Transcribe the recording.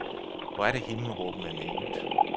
Hvor er det himmelråbende naivt.